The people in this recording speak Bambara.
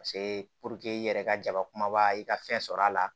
Paseke i yɛrɛ ka jaba kumaba i ka fɛn sɔrɔ a la